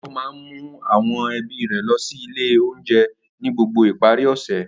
Débò máa ń mú àwọn ẹbí rẹ̀ lọ sí ilé-oúnjẹ ni gbogbo ìparí ọ̀sẹ̀.